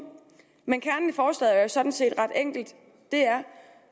men kernen i forslaget er jo sådan set ret enkel det er